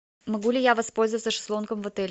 могу ли я воспользоваться шезлонгом в отеле